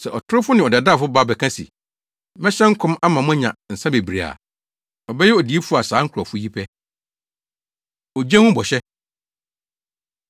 Sɛ ɔtorofo ne ɔdaadaafo ba bɛka se, ‘Mɛhyɛ nkɔm ama moanya nsa bebree a’ ɔbɛyɛ odiyifo a saa nkurɔfo yi pɛ.” Ogye Ho Bɔhyɛ